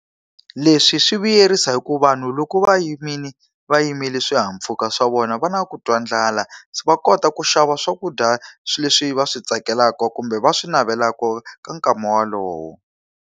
Leswi swi vuyerisa hikuva vanhu loko va yimile va yimile swihahampfhuka swa vona va na ku twa ndlala, va kota ku xava swakudya leswi va swi tsakelaka kumbe va swi navelaka ka nkama walowo.